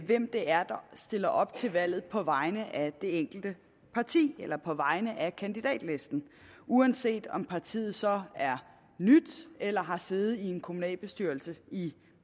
hvem det er der stiller op til valget på vegne af det enkelte parti eller på vegne af kandidatlisten uanset om partiet så er nyt eller har siddet i en kommunalbestyrelse i